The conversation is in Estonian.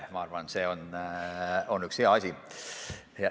Ma arvan, et see on üks hea asi.